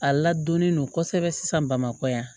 A ladonnen don kosɛbɛ sisan bamakɔ yan